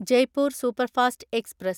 Jaipur superfast express